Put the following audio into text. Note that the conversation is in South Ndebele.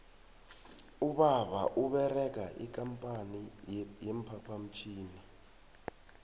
ubaba uberega ikampani ye phaphamtjhini